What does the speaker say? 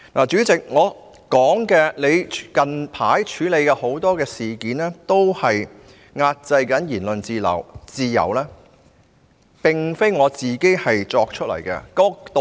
主席，我說你近來在處理很多事件上壓制言論自由，並非無中生有。